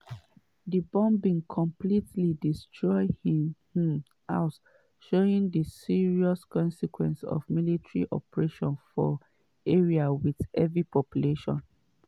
di bombing completely destroy im um house showing di serious consequence of military operations for area wit heavy populations.